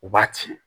U b'a ci